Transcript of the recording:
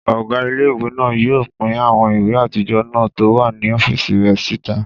Ọgá ilé-ìwé náà yóò pín àwọn ìwé àtijọ́ náà tó wà ní ọ́fìsì rẹ̀ síta